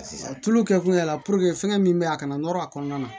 A tulu kɛ kun y'a la fɛngɛ min bɛ yen a kana nɔrɔ a kɔnɔna na